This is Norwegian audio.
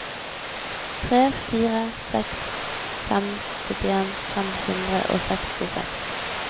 tre fire seks fem syttien fem hundre og sekstiseks